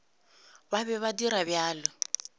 ba be ba dira bjalo